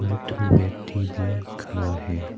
एक ठो व्यक्ति भी खड़ा है।